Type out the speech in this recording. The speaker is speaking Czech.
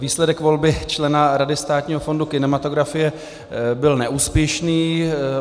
Výsledek volby člena Rady Státního fondu kinematografie byl neúspěšný.